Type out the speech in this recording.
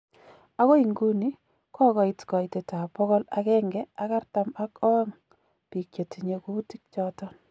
Agoi inguni kogogoit koitet ab bogol agenge ak artam ak oong biik chetinye kuutik choton.